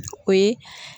O ye